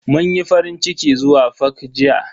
Mun yi farincikin zuwa fak jiya.